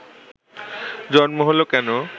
জন্ম হলো কেন